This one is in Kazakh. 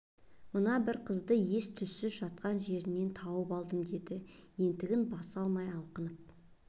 мына бір қызды ес-түссіз жатқан жерден тауып алдым деді ентігін баса алмай алқынып